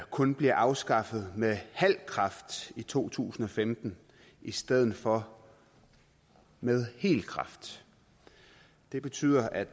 kun bliver afskaffet med halv kraft i to tusind og femten i stedet for med hel kraft det betyder at